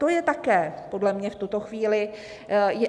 To je také podle mě v tuto chvíli...